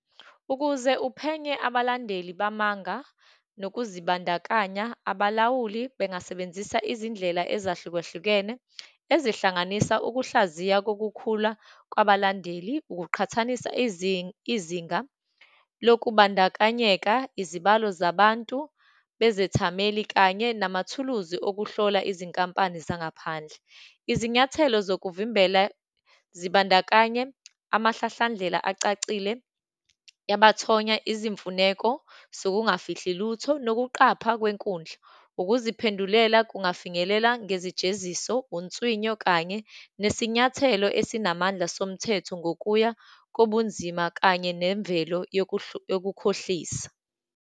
Ukuze uphenye abalandeli bamabanga nokuzibandakanya, abalawuli bengasebenzisa izindlela ezahlukahlukene, ezihlanganisa ukuhlaziya kokukhula kwabalandeli, ukuqhathanisa izinga lokubandakanyeka, izibalo zabantu bezethameli, kanye namathuluzi okuhlola izinkampani zangaphandle. Izinyathelo zokuvimbela zibandakanye, amahlahlandlela acacile yabathonya, izimfuneko zokungafihli lutho, nokuqapha kwenkundla, ukuziphendulela kungafinyelela ngezijeziso, unswinyo, kanye nesinyathelo esinamandla somthetho ngokuya kobunzima, kanye nemvelo yokukhohlisa.